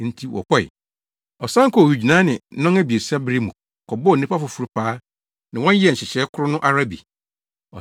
Enti wɔkɔe. “Ɔsan kɔɔ owigyinae ne nnɔn abiɛsa bere mu kɔbɔɔ nnipa foforo paa ne wɔn yɛɛ nhyehyɛe koro no ara bi.